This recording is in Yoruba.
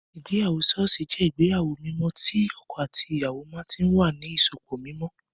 Ìgbéyàwó ṣọ́ọ̀ṣì jẹ́ ìgbéyàwó mímọ́ tí ìyàwó àti ọkọ ìyàwó náà tí wà ní ìsopọ̀ mímọ́